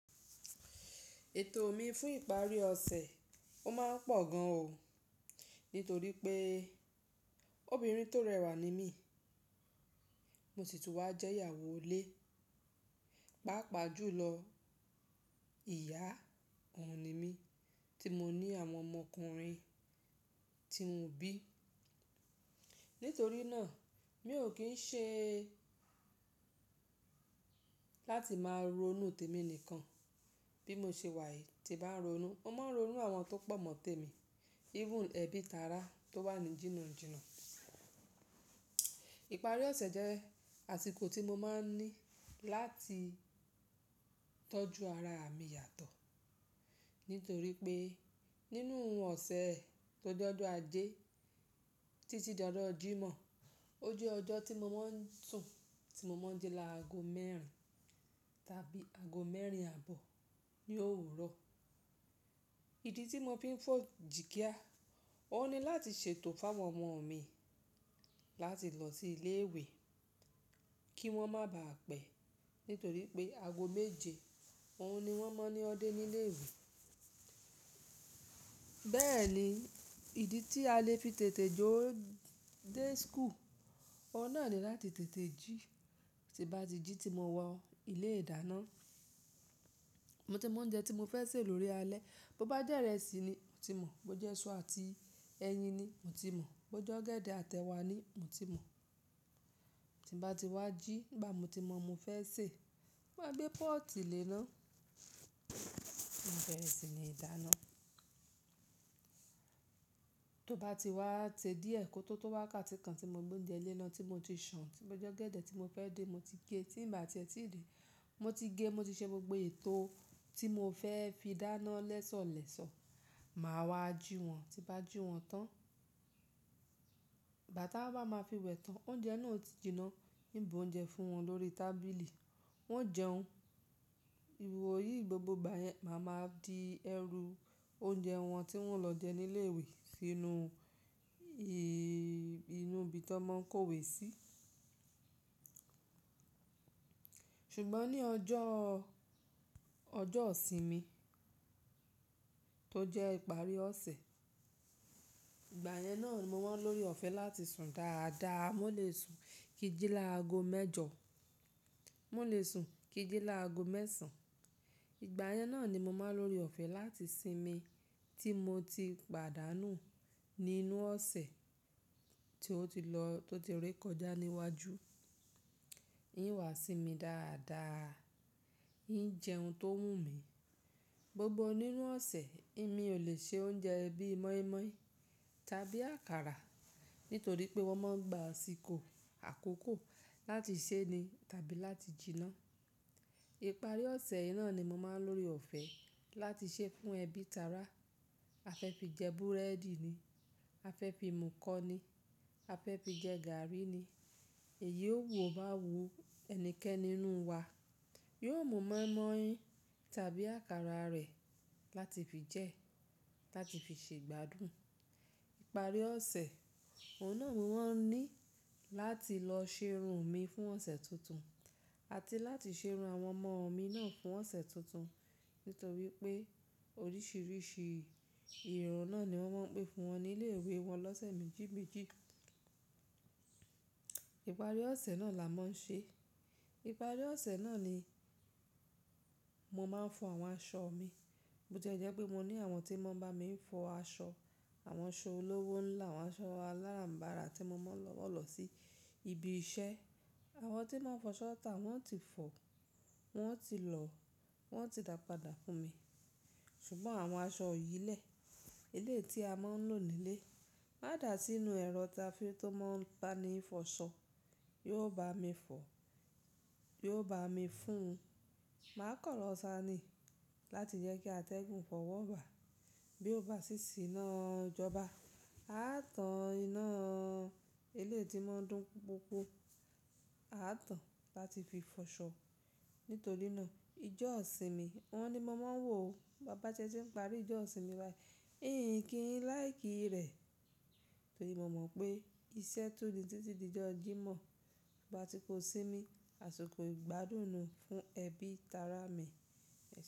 Ètò mi fún ìparí ọ̀sẹ̀, ó máa ń pọ̀ gan o, nítorí pé obìnrin tó rẹwà ni mí, mo sì tún wá jẹ́ ìyàwó lé, pàápàá jùlọ ìyá òun ni mí tí mo ní àwọn ọmọkùnrin tí mo bí. Nítorí náà mi ò kín ṣe láti máa ronú tèmi nìkan bí mo ṣe wà yìí tí bá ń ronú. Mo máa ń ronú àwọn tó pọ̀ mọ́ tèmi, even ẹbí tara tó wà ní jìnnà jínnà. Ìparí ọ̀sẹ̀ jẹ́ àsìkò tí mo máa ń ní láti tọ́jú ara mi yàtọ̀. Nítorí pé nínú òun ọ̀sẹ̀ tó jẹ́ ọjọ́ ajé títí di ọjọ́ jímọ̀, ó jẹ́ ọjọ́ tí mo máa ń sùn tí mo máa ń jí laago mẹ́rin tàbí àgó mẹ́rin àbọ̀ ní òwúrọ̀. Ìdí tí mo fi ń fọ̀ jìkíà, ó ni láti ṣètò fún àwọn ọmọ mi láti lọ sí ilé ìwé kí wọ́n má bà á pẹ́. Nítorí pé àgó méje òun ni wọ́n máa ń ní dé nílé ìwé. Bẹ́ẹ̀ ni ìdí tí a lè fi tètè jó dé school, o náà ni láti tètè jí. Ti bá ti jí tí mo wọ ilé ìdáná, mo ti mọ oúnjẹ tí mo fẹ́ sè lórí alẹ́, bó bá jẹ́ ìrẹsì ni mo ti mọ̀, bó jẹ́ isu àti ẹyin ni mo ti mọ̀, bó jẹ́ ọ̀gẹ̀dẹ̀ àtẹ wá ni mo ti mọ̀. Ti bá ti wá jí nígbà mo ti mọ ohun mo fẹ́ sè, mo bá gbé pọ́ọ̀tì léná, mo si bẹ̀rẹ̀ sí ní dáná. Tó bá ti wá se díẹ̀, kó tó tó wá ká ti kan tí mo gbé oúnjẹ léná tí mo ti ṣùn, tí bó ọ̀gẹ̀dẹ̀ tí mo fẹ́ dín, mo ti gé ẹ́, tí bá ti ẹ̀ tí din, mo ti gé, mo ti ṣe gbogbo ètò tí mo fẹ́ fi dáná lẹ́sọ̀ọ́ lẹ́sọ̀ọ́. Máa wá jí wọ́n, tí bá jí wọ́n tán, gbà tá wá máa fi wẹ̀ tán. Oúnjẹ náà ó ti jinná, n í bu oúnjẹ fún wọn lórí tábìlì, wọ́n ó jẹun. Ìwó yìí gbogbo ìgbà yẹn máa ma di ẹrú oúnjẹ wọn tí wọ́n o lọ jẹ nílé ìwé sínú i-inú ibi tó máa ń kó ìwé sí. Ṣùgbọ́n ní ọjọ́, ọjọ́ ìsinmi tó jẹ́ ìparí ọ̀sẹ̀, ìgbà yẹn náà ni mo máa ń lóre ọ̀fẹ́ láti sùn dáadáa, mo lè sùn kí jí laago mẹ́jọ, mo lè sùn kí jí laago mẹ́sàn-án. Ìgbà yẹn náà ni mo máa ń lóre ọ̀fẹ́ láti sinmi tí mo ti pàdánù nínú ọ̀sẹ̀ tí ó ti lọ, tó ti ré kọjá níwájú. Òun wà sí mi dáadáa, yín jẹun tó wù mí Gbogbo nínú ọ̀sẹ̀, mi ò lè ṣe oúnjẹ bí mọ́ímọ́í tàbí àkàrà nítorí pé wọ́n máa ń gba àsìkò àkókò láti ṣé ni tàbí láti jinná. Ìparí ọ̀sẹ̀ yìí náà ni mo máa ń lórí ọ̀fẹ́ láti ṣé fún ẹbí tara. A fẹ́ fi jẹ búrẹ́dì ni, a fẹ́ fi mú kọ ni, a fẹ́ fi jẹ gààrí ni. Èyí o wò bá wù ẹnikẹ́ni nínú wa, yóò mú mọ́ímọ́í tàbí àkàrà rẹ̀ láti fi jẹ́, láti fi ṣe ìgbádùn. Ìparí ọ̀sẹ̀, o náà ni mo má ń ní láti lọ ṣe irun mi fún ọ̀sẹ̀ tuntun àti láti ṣe irun àwọn ọmọ mi náà fún ọ̀sẹ̀ tuntun. Nítorí pé oríṣiríṣi irun náà ni wọ́n máa ń pè fún wọn nílé ìwé wọn lọ́sẹ̀ méjì méjì. Ìparí ọ̀sẹ̀ náà làá máa ń ṣé. Ìparí ọ̀sẹ̀ náà ni mo máa ń fọ àwọn aṣọ mi. Bo jẹ́ jẹ́ pé mo ní àwọn tí máa ń bá mi fọ aṣọ, àwọn aṣọ olówó ńlá, àwọn aṣọ aláràm̀barà tí mo máa ń wọ̀ lọ sí ibi iṣẹ́. Àwọn tí máa ń fọ ṣọ tà wọ́n ti fọ̀, wọ́n ti lọ, wọ́n sì dàpadà fún mi. Ṣùgbọ́n àwọn aṣọ ìyìnlẹ̀, eléyìí tí a máa ń lò nílé, a dà sínú ẹrọ táfi tó máa ń pani fọ ṣọ́, yóò bá mi fọ̀, yóò bá mi fún un. Màá kan lọ́ sání láti jẹ́ kí atẹ́gùn fọ̀ wọ́ bàá bí ó bá ṣí sì iná ìjọba. A á tán iná ilé tí máa ń dùn pupupu, a á tán láti fi fọ ṣọ́. Nítorí náà ijọ́ ìsinmi wọn ni mo máa ń wò ó. Bábá se n ń parí ijó ìsinmi wá yìí. Ín kí n like kí rẹ̀. Nítorí mo mọ̀ pé iṣẹ́ tún ni títí di ijọ́ jímọ̀. Àti kó sinmi, àsìkò ìgbádùn ni fún ẹbí tara mi.